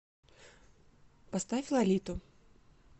поставь лолиту